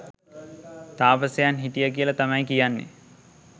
තාපසයන් හිටිය කියල තමයි කියන්නේ